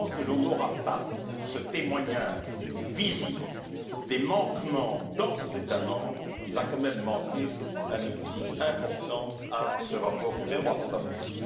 Tant que l'on n'aura pas ce témoignage visible des manquements dans nos États membres, il va quand même manquer un outil important à ce rapport sur les droits fondamentaux.